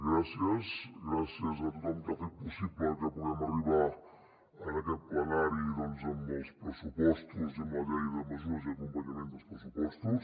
gràcies gràcies a tothom que ha fet possible que puguem arribar a aquest plenari amb els pressupostos i amb la llei de mesures i d’acompanyament dels pressupostos